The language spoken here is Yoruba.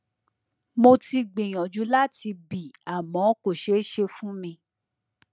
mo ti gbìyànjú láti bì àmọ kò ṣeé ṣe fún mi